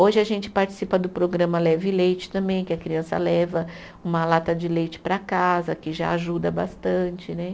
Hoje a gente participa do programa Leve Leite também, que a criança leva uma lata de leite para casa, que já ajuda bastante né.